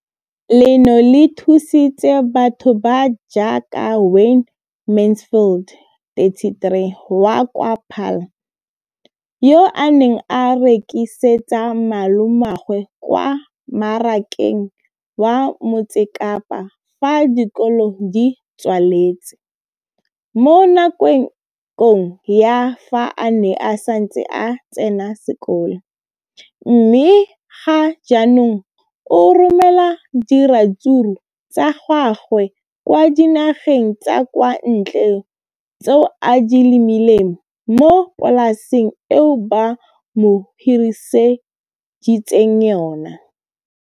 Leno le thusitse batho ba ba jaaka Wayne Mansfield, 33, wa kwa Paarl, yo a neng a rekisetsa malomagwe kwa Marakeng wa Motsekapa fa dikolo di tswaletse, mo nakong ya fa a ne a santse a tsena sekolo, mme ga jaanong o romela diratsuru tsa gagwe kwa dinageng tsa kwa ntle tseo a di lemileng mo polaseng eo ba mo hiriseditseng yona.